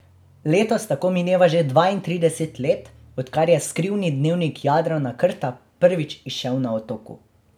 Letos tako mineva že dvaintrideset let, odkar je Skrivni dnevnik Jadrana Krta prvič izšel na Otoku.